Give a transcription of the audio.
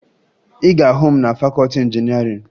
Ị ga-ahụ m na fakọọti injinịarịn